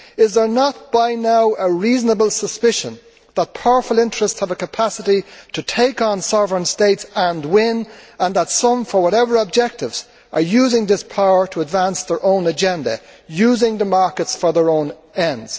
Is there not by now a reasonable suspicion that powerful interests have a capacity to take on sovereign states and win, and that some for whatever objectives are using this power to advance their own agenda, using the markets for their own ends?